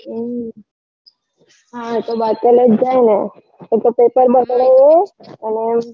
હમ હા એ તો બાતલ જ જાય ને એ તો paper બગડે એ અને